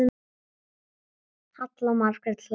Halla Margrét hlær.